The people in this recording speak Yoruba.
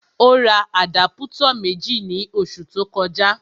Ó ra àdápútọ̀ méjì ní oṣù tó kọjá